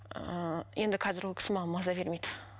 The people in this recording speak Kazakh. ыыы енді қазір ол кісі маған маза бермейді